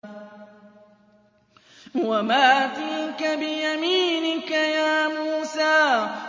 وَمَا تِلْكَ بِيَمِينِكَ يَا مُوسَىٰ